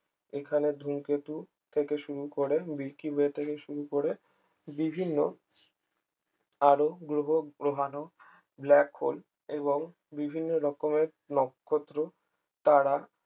এখানে ধুমকেতু থেকে শুরু করে শুরু করে বিভিন্ন আরো গ্রহ গ্রহাণু ব্ল্যাক হোল এবং বিভিন্ন রকমের নক্ষত্র তারা